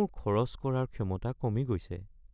মোৰ খৰচ কৰাৰ ক্ষমতা কমি গৈছে